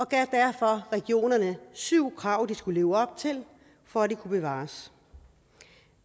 gav derfor regionerne syv krav de skulle leve op til for at de kunne bevares